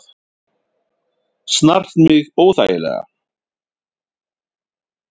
Snart mig óþægilega.